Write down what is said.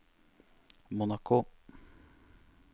Monaco